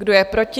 Kdo je proti?